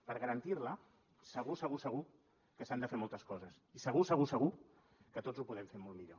per garantir la segur segur segur que s’han de fer moltes coses i segur segur segur que tots ho podem fer molt millor